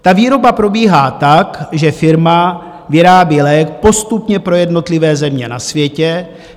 Ta výroba probíhá tak, že firma vyrábí lék postupně pro jednotlivé země na světě.